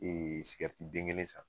sikɛriti den kelen san.